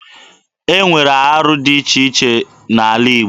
E nwere arụ dị iche iche n'ala Igbo.